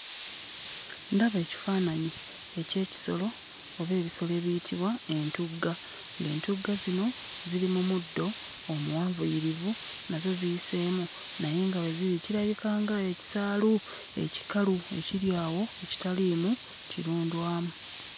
Ndaba ekifaananyi eky'ekisolo oba ebisolo ebiyitibwa entugga, ng'entugga zino ziri mu muddo omuwanvuyirivu, nazo ziyiseemu naye nga we ziri kirabika ng'ekisaalu ekikalu ekiri awo ekitaliimu kirundwamu.